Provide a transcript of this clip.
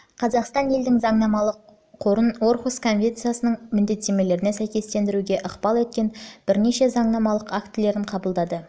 қазақстан елдің заңнамалық қорын орхусс конвенциясының міндеттемелеріне сәйкестендіруге ықпал еткен бірнеше заңнамалық актілерін қабылдады